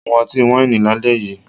Mu ọtí wáìnì lálẹ́ yìí